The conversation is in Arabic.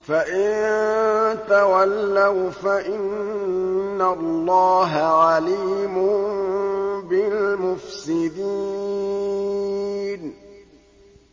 فَإِن تَوَلَّوْا فَإِنَّ اللَّهَ عَلِيمٌ بِالْمُفْسِدِينَ